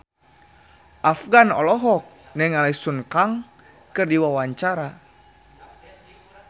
Afgan olohok ningali Sun Kang keur diwawancara